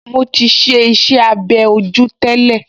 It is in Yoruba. Mo ti ṣe iṣẹ́-abẹ́ ojú tẹ́lẹ̀